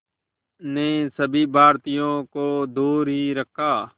ने सभी भारतीयों को दूर ही रखा